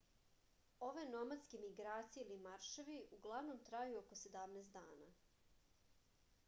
ove nomadske migracije ili marševi uglavnom traju oko 17 dana